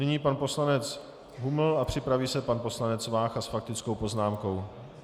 Nyní pan poslanec Huml a připraví se pan poslanec Vácha s faktickou poznámkou.